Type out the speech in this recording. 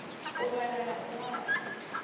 u vhala na u ṅwala